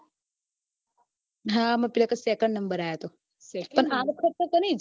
હા પેલા વખતે second number આયો હતો પણ આ વખતે કની